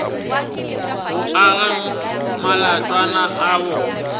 go aga matlwana a bona